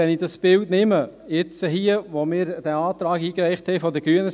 Wenn ich aber dieses Bild nehme, jetzt, wo wir den Antrag seitens der Grünen eingereicht haben …